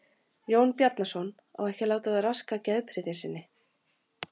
Jón Bjarnason á ekki að láta það raska geðprýði sinni.